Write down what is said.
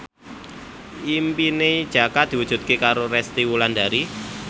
impine Jaka diwujudke karo Resty Wulandari